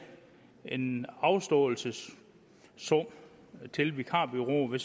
en afståelsessum til vikarbureauet